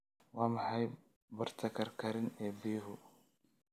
Waa maxay barta karkarin ee biyuhu?